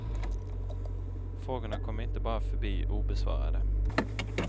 Frågorna kommer inte bara att förbli obesvarade.